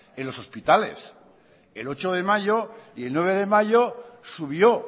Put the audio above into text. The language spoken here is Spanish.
en los hospitales el ocho de mayo y el nueve de mayo subió